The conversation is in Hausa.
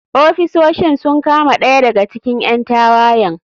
Ofisoshin sun kama ɗaya daga cikin ƴan tawayen.